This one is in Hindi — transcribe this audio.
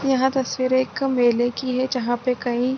यहां तस्वीर एक मेले की है जहां पर कई --